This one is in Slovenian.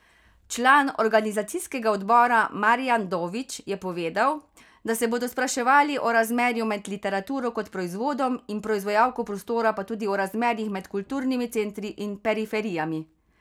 Član organizacijskega odbora Marijan Dović je povedal, da se bodo spraševali o razmerju med literaturo kot proizvodom in proizvajalko prostora pa tudi o razmerjih med kulturnimi centri in periferijami.